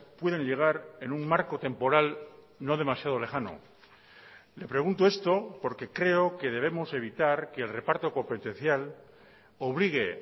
puedan llegar en un marco temporal no demasiado lejano le pregunto esto porque creo que debemos evitar que el reparto competencial obligue